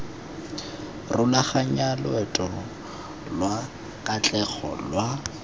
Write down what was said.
rulaganya loeto lwa katlego lwa